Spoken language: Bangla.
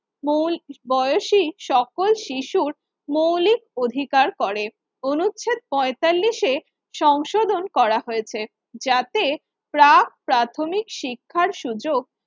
মৌ বয়সি সকল শিশুর মৌলিক অধিকার করে। অনুচ্ছেদ পঁয়তাল্লিশে সংশোধন করা হয়েছে। যাতে প্রাক প্রাথমিক শিক্ষার সুযোগ